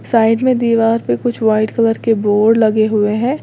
Side में दीवार पे कुछ व्हाइट कलर के बोर्ड लगे हुए हैं।